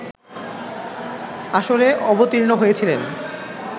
আসরে অবতীর্ণ হয়েছিলেন